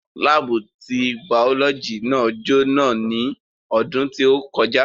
Láábù ti bàọ́lọ́jì náà jó ná ní ọdún tí ó kọjá